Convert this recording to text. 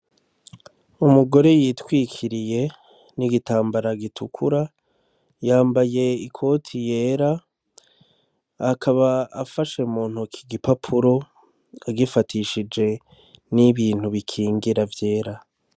Umugore yitwikiriye n'igitambara gitukura yambaye i koti yera akaba afashe mu ntoki igipapuro agifatishije n'ibintu bikingira vyera.